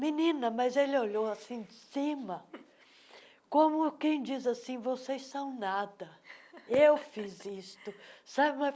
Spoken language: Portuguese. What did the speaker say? Menina, mas ele olhou assim de cima, como quem diz assim, vocês são nada, eu fiz isto, sabe?